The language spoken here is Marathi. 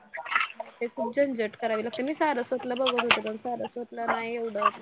खूप झंझट करावी लागते मी सारस्वतला बघत होते पण सारस्वतला नाही आहे एवढं म्हणजे